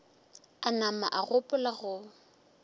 a nama a gopola go